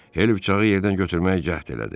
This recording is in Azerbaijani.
Hel bıçağı yerdən götürməyə cəhd elədi.